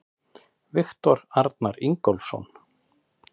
Viktor Arnar Ingólfsson